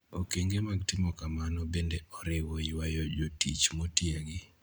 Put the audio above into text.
Okenge mag timo kamano bende oriwo ywayo jotich motiegi